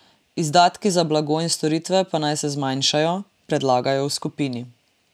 Izdatki za blago in storitve pa naj se zmanjšajo, predlagajo v skupini.